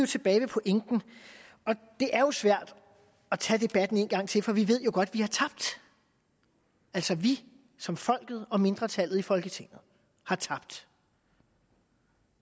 tilbage ved pointen og det er jo svært at tage debatten en gang til for vi ved godt at vi har tabt altså vi som folk og mindretallet i folketinget har tabt